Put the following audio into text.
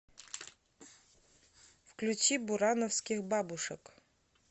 включи бурановских бабушек